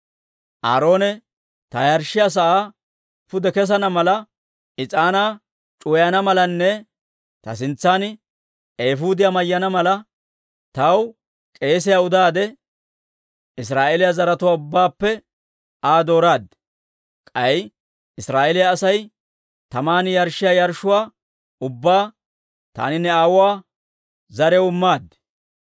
Aaroone ta yarshshiyaa sa'aa pude kessana mala, is'aanaa c'uwayana malanne ta sintsan eefuudiyaa mayyana mala, taw k'eesiyaa udaade Israa'eeliyaa zaratuwaa ubbaappe Aa dooraad. K'ay Israa'eeliyaa Asay taman yarshshiyaa yarshshuwaa ubbaa taani ne aawuwaa zariyaw immaad.